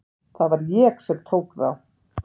Það var ég sem tók þá.